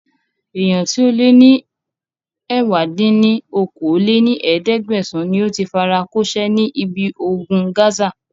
Èèyàn tíì ó lè ní ẹ̀wá dín ní okòó-lé-ní-ẹ̀ẹ́dẹ́gbẹ́sán níí óti fara kò ṣe ní ibi ogun Gaza